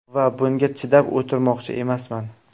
Va bunga chidab o‘tirmoqchi emasman.